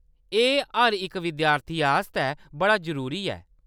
एह्‌‌ हर इक विद्यार्थी आस्तै बड़ा जरूरी ऐ।